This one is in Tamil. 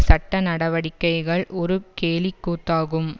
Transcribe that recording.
சட்ட நடவடிக்கைகள் ஒரு கேலிக்கூத்தாகும்